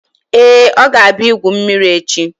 Ee, ọ ga-abịa igwu mmiri echi